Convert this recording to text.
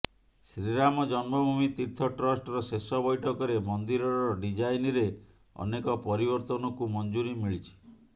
ଶ୍ରୀରାମ ଜନ୍ମଭୂମି ତୀର୍ଥ ଟ୍ରଷ୍ଟର ଶେଷ ବୈଠକରେ ମନ୍ଦିରର ଡିଜାଇନରେ ଅନେକ ପରିବର୍ତ୍ତନକୁ ମଞ୍ଜୁରୀ ମିଳିଛି